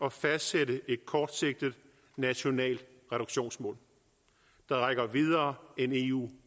at fastsætte et kortsigtet nationalt reduktionsmål der rækker videre end eu